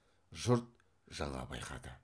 жұрт жаңа байқады